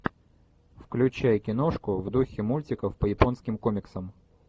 включай киношку в духе мультиков по японским комиксам